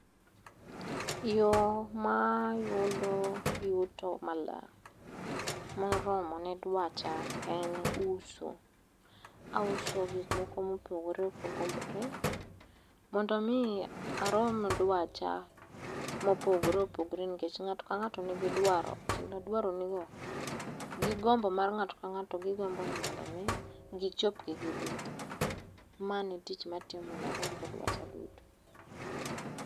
Yo mayudo yuto malang' moromo ne dwacha en uso. Auso gik moko mopogore opogore mondo mi arom dwacha mopogore opogore nikech ng'ato kang'ato nigi dwaro kendo dwaronigo, gi gombo mar ng'ato ka ng'ato mondo mi gichopgi giduto. Mano e tich matiyo mondo arom dwacha duto.